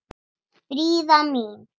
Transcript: Fríða mín.